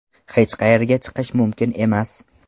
Hech qayerga chiqish mumkin emas.